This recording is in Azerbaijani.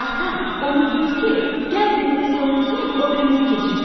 Ata, onu deyir ki, gəl birimiz soyunsun, o birimizi keçirsin.